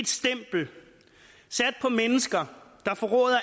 stempel sat på mennesker der forråder